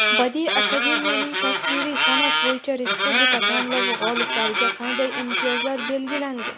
Badiiy akademiyaning tasviriy sanʼat bo‘yicha Respublika tanlovi g‘oliblariga qanday imtiyozlar belgilangan?.